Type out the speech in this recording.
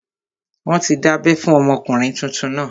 Wọ́n ti dábẹ́ fún ọmọkùnrin tuntun náà